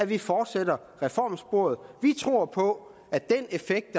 vi fortsætter ad reformsporet vi tror på at den effekt